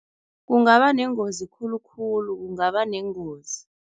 Kungaba nengozi khulukhulu, kungaba nengozi.